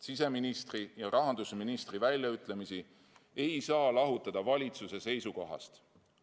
Siseministri ja rahandusministri väljaütlemisi ei saa lahutada valitsuse seisukohast.